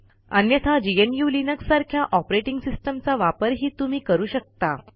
अन्यथा gnuलिनक्स सारख्या ऑपरेटिंग सिस्टम चा वापरही तुम्ही करू शकता